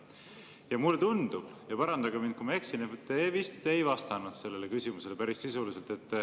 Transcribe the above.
Ja mulle tundub – parandage mind, kui ma eksin –, et te vist ei vastanud sellele küsimusele päris sisuliselt.